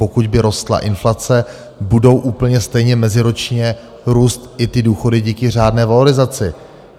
Pokud by rostla inflace, budou úplně stejně meziročně růst i ty důchody díky řádné valorizaci.